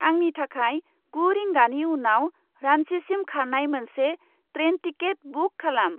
आंनि थाखाय गु रिंगानि उनाव रान्चिसिम खारनाय मोनसे ट्रेन टिकेट बुक खालाम।